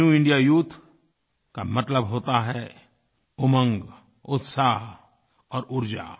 new India youth का मतलब होता है उमंग उत्साह और ऊर्जा